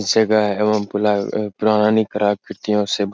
इस जगह एवम पुला प्राणी क्रा कृतियों से --